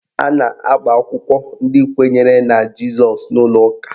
A na-agba akwụkwọ ndị kwenyere na Jizọs n'ụlọ ụka